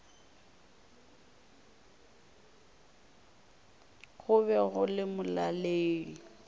go be go le molaleng